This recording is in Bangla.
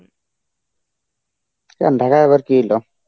কেন ঢাকায় আবার কী হইলো?